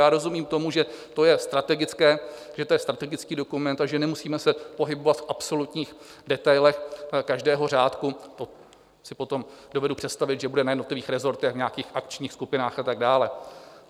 Já rozumím tomu, že to je strategické, že to je strategický dokument a že nemusíme se pohybovat v absolutních detailech každého řádku, to si potom dovedu představit, že bude na jednotlivých resortech v nějakých akčních skupinách a tak dále.